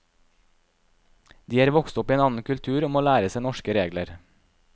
De er vokst opp i en annen kultur og må lære seg norske regler.